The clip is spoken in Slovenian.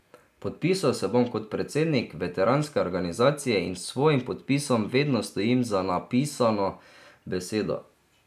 Podpisal se bom kot predsednik veteranske organizacije in s svojim podpisom vedno stojim za napisano besedo.